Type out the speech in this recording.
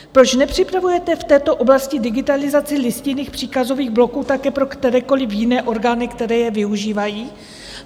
Proč nepřipravujete v této oblasti digitalizaci listinných příkazových bloků také pro kterékoliv jiné orgány, které je využívají?